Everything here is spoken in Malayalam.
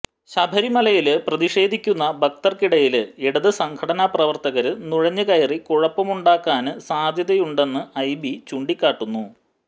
ശബരിമലയില് പ്രതിഷേധിക്കുന്ന ഭക്തര്ക്കിടയില് ഇടത് സംഘടനാ പ്രവര്ത്തകര് നുഴഞ്ഞുകയറി കുഴപ്പമുണ്ടാക്കാന് സാധ്യതയുണ്ടെന്ന് ഐബി ചൂണ്ടിക്കാട്ടുന്നു